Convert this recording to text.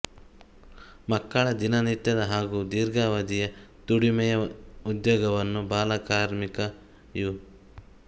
ಮಕ್ಕಳ ದಿನನಿತ್ಯದ ಹಾಗು ದೀರ್ಘಾವಧಿ ದುಡಿಮೆಯ ಉದ್ಯೋಗವನ್ನು ಬಾಲ ಕಾರ್ಮಿಕ ಯು